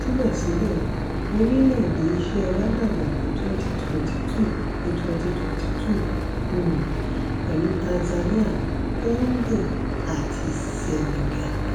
síbẹ̀síbẹ̀ orílẹ̀-èdè iṣẹ́ wa dàgbà ní 2022 ní 2022 um pẹ̀lú tanzania congo àti senegal.